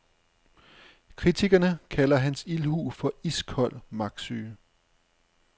Kritikerne kalder hans ildhu for iskold magtsyge.